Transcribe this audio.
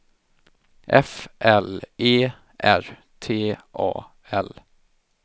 F L E R T A L